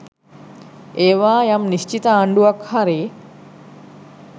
ඒවා යම් නිශ්චිත ආණ්ඩුවක් හරි